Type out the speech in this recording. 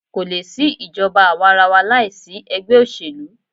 Kò lè sí ìjọba àwàrawa láìsí egbẹ́ òṣèlú.